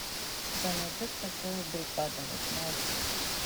у тебя найдется шоу бригада восьмая серия